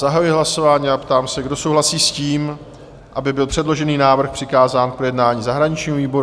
Zahajuji hlasování a ptám se, kdo souhlasí s tím, aby byl předložený návrh přikázán k projednání zahraničnímu výboru?